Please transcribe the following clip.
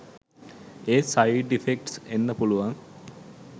ඒත් side effects එන්න පුලුවන්